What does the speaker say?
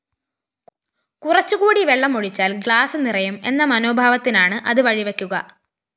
കുറച്ചുകൂടി വെള്ളമൊഴിച്ചാല്‍ ഗ്ലാസ്‌ നിറയും എന്ന മനോഭാവത്തിനാണ് അത് വഴിവയ്ക്കുക